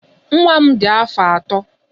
Nwa m dị afọ atọ.